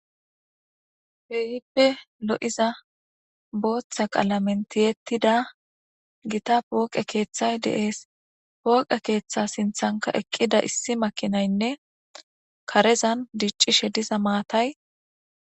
Keehippe lo7iza booththa qalamentiyettida gita pooqe keeththay deees pooqe keeththa sinthanka eqqida issi makinaynne karezan diccishe diza maatay.